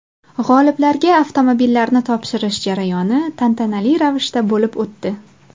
G‘oliblarga avtomobillarni topshirish jarayoni tantanali ravishda bo‘lib o‘tdi.